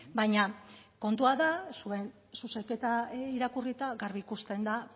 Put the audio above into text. baina kontua da zuen zuzenketa irakurrita garbi ikusten da